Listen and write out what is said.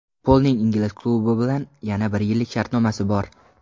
Polning ingliz klubi bilan yana bir yillik shartnomasi bor.